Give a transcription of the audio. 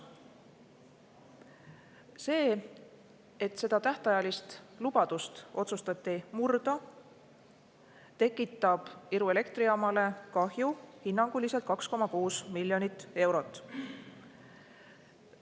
See, et seda tähtajalist lubadust otsustati murda, tekitab Iru elektrijaamale hinnanguliselt 2,6 miljonit eurot kahju.